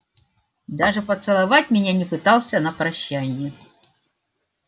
даже поцеловать меня не пытался на прощанье